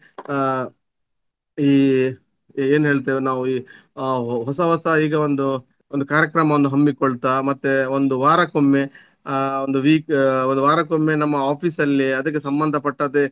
ಆ ಈ ಏನ್ ಹೇಳ್ತೇವೆ ನಾವು ಈ ಆ ಹೊಸ ಹೊಸ ಈಗ ಒಂದು ಒಂದು ಕಾರ್ಯಕ್ರಮವನ್ನು ಹಮ್ಮಿಕೊಳ್ತಾ ಮತ್ತೆ ಒಂದು ವಾರಕ್ಕೊಮ್ಮೆ ಆ ಒಂದು week ಒಂದು ವಾರಕ್ಕೊಮ್ಮೆ ನಮ್ಮ office ಅಲ್ಲಿ ಅದಕ್ಕೆ ಸಂಬಂಧಪಟ್ಟದ್ದೆ